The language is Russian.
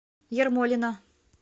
ермолино